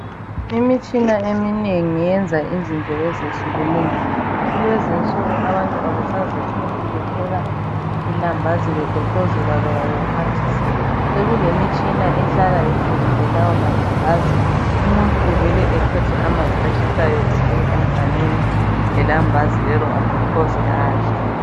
Imitshina eminengi yenza izinto ezehlukeneyo. Kulezinsuku abantu abasazihluphi bepheka ilambazi begoqozela loba bexhwathisa. Sekulemitshina ehlala iphekile lawo malambazi, umuntu uvele ethathe amanzi atshisayo efake emganwini lelambazi lelo agoqoze adle.